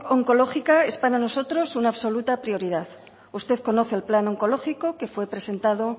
oncológica es para nosotros una absoluta prioridad usted conoce el plan oncológico que fue presentado